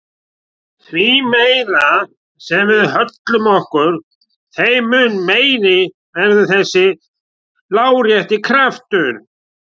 Því meira sem við höllum okkur þeim mun meiri verður þessi lárétti kraftur.